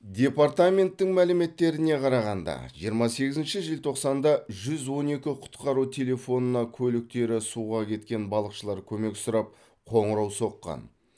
департаменттің мәліметтеріне қарағанда жиырма сегізінші желтоқсанда жүз он екі құтқару телефонына көліктері суға кеткен балықшылар көмек сұрап қоңырау соққан